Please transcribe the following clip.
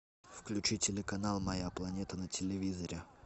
включи телеканал моя планета на телевизоре